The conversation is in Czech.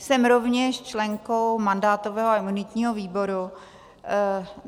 Jsem rovněž členkou mandátového a imunitního výboru.